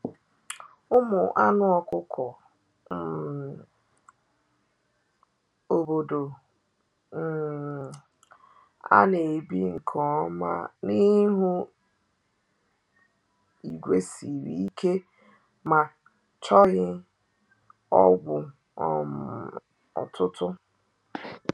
Ụmụ anụ ọkụkọ um obodo um a na-ebi nke ọma n’ihu igwe siri ike ma chọghị ọgwụ um ọtụtụ.